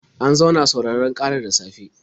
An zauna sauraron ƙarar da safe.